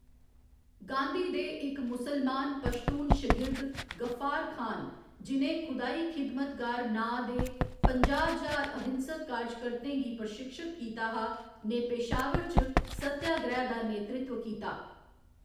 गांधी दे इक मुसलमान पश्तून शगिर्द गफ्फार खान, जि'नें खुदाई खिदमतगर नांऽ दे पंजाह्‌ ज्हार अहिंसक कार्जकर्तें गी प्रशिक्षत कीता हा, ने पेशावर च सत्याग्रैह्‌‌ दा नेतृत्व कीता।